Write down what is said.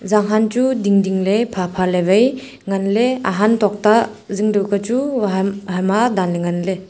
jang han chu dingding ley pha pha ley vai nganley ahan tokta zing dau ka chu vaham haima danley nganley.